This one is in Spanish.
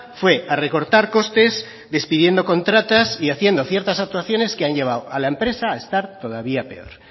fue a recortar costes despidiendo contratas y haciendo ciertas actuaciones que han llevado a la empresa a estar todavía peor